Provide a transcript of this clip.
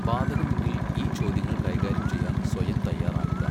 ബാധകമെങ്കിൽ ഈ ചോദ്യങ്ങൾ കൈകാര്യം ചെയ്യാൻ സ്വയം തയ്യാറാകുക.